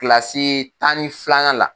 Kilasi tan ni filanan la.